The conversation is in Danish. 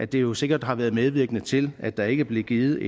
det jo sikkert har været medvirkende til at der ikke blev givet